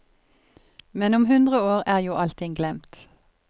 Men om hundre år er jo allting glemt.